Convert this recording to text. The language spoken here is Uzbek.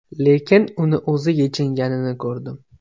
Lekin uni o‘zi yechinganini ko‘rdim.